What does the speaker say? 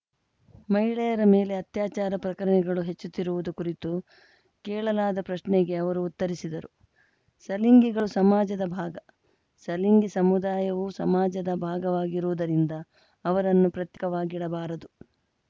ಮಹಿಳೆಯರ ಮೇಲೆ ಅತ್ಯಾಚಾರ ಪ್ರಕರಣಗಳು ಹೆಚ್ಚುತ್ತಿರುವುದು ಕುರಿತು ಕೇಳಲಾದ ಪ್ರಶ್ನೆಗೆ ಅವರು ಉತ್ತರಿಸಿದರು ಸಲಿಂಗಿಗಳು ಸಮಾಜದ ಭಾಗ ಸಲಿಂಗಿ ಸಮುದಾಯವೂ ಸಮಾಜದ ಭಾಗವಾಗಿರುವುದರಿಂದ ಅವರನ್ನು ಪ್ರತ್ಯೇಕವಾಗಿಡಬಾರದು